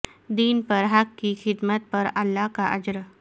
دین بر حق کی خدمت پر اللہ کا اجر